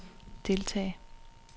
deltage